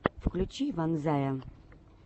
включи ванзая